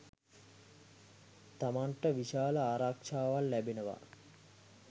තමන්ට විශාල ආරක්ෂාවක් ලැබෙනවා.